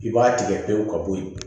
I b'a tigɛ pewu ka bɔ yen